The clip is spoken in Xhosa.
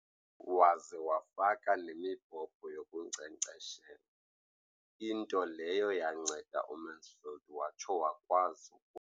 Waze wafaka nemibhobho yokunkcenkceshela, into leyo yanceda uMansfield watsho wakwazi.